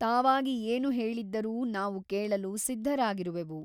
ತಾವಾಗಿ ಏನು ಹೇಳಿದ್ದರೂ ನಾವು ಕೇಳಲು ಸಿದ್ಧರಾಗಿರುವೆವು.